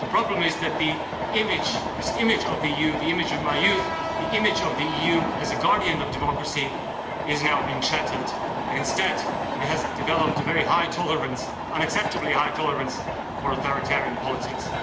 But the problem is that this image of the EU, the image of my youth, the image of the EU as a guardian of democracy is now being shattered and instead it has developed a very high tolerance an unacceptably high tolerance for authoritarian politics.